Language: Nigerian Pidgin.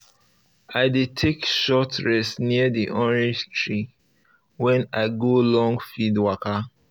i dey take short rest near the orange tree when i go long field waka